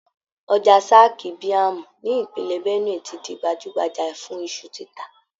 Ọjà Zaki biam ní Ìpínlẹ̀ Benue ti di gbajúgbajà fun iṣu títà.